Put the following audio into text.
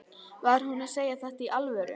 Var hún að segja þetta í alvöru?